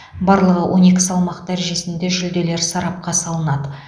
барлығы он екі салмақ дәрежесінде жүлделер сарапқа салынады